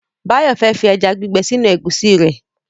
Báyọ̀ fẹ́ fi ẹja gbígbẹ sínú ẹ̀gúsí rẹ̀